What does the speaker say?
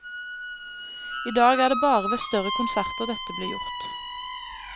I dag er det bare ved større konserter dette blir gjort.